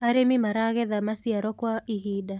arĩmi maragetha maĩaro kwa ihinda